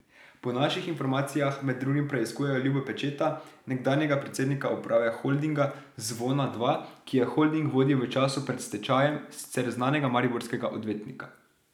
Po naših informacijah med drugim preiskujejo Ljuba Pečeta, nekdanjega predsednika uprave Holdinga Zvona dva, ki je holding vodil v času pred stečajem, sicer znanega mariborskega odvetnika.